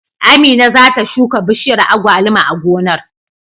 Amina za ta shuka bishiyar agwaluma a gonar.